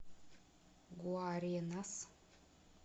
гуаренас